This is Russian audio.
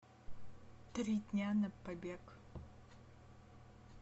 три дня на побег